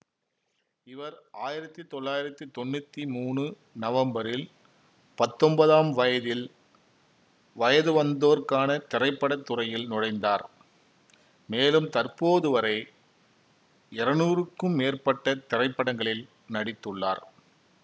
இவர் ஆயிரத்தி தொள்ளாயிரத்தி தொன்னூத்தி மூனு நவம்பரில் பத்தொன்பதாம் வயதில் வயது வந்தோர்க்கான திரைப்பட துறையில் நுழைந்தார் மேலும் தற்போதுவரை இருநூறுக்கும் மேற்பட்ட திரைப்படங்களில் நடித்துள்ளார்